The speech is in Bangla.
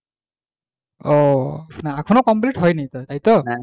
আহ এখনও complete হয়নি তোর তাই তো?